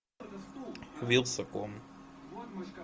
вилсаком